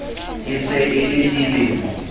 e se e le dilemo